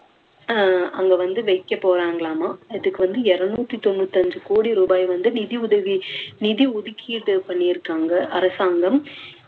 அஹ் அங்க வந்து வைக்க போறாங்களாமா அதுக்கு வந்து இருநூத்தி தொண்ணூத்தி அஞ்சு கோடி ரூபாய் வந்து நிதியுதவி நிதி ஒதுக்கீடு பண்ணிருக்காங்க அரசாங்கம்